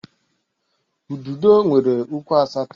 Ududo nwere ụkwụ asatọ